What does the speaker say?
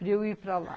Para eu ir para lá.